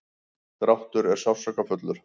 dráttur er sársaukafullur.